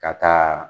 Ka taa